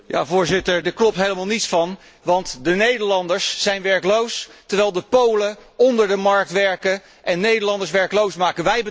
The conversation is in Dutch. Voorzitter, daar klopt helemaal niets van, want de Nederlanders zijn werkloos, terwijl de Polen onder de markt werken en Nederlanders werkloos maken.